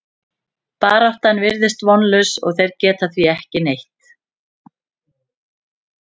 Baráttan virðist vonlaus og þeir gera því ekki neitt.